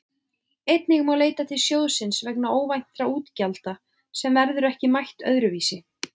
Einnig má leita til sjóðsins vegna óvæntra útgjalda sem verður ekki mætt öðru vísi.